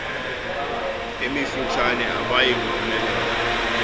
emifutshane abayi kuphumelela